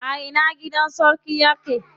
A ina gidan sarkin yake?